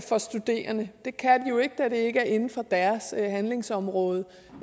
for studerende det kan de jo ikke da det ikke inden for deres handlingsområde